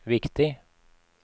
viktig